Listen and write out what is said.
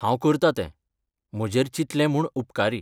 हांव करतां तें, म्हजेर चिंतलें म्हूण उपकारी!